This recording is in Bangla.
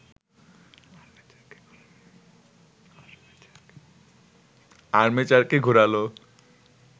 আর্মেচারকে ঘুরালে